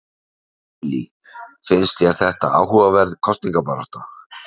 Lillý: Finnst þér þetta áhugaverð kosningabarátta?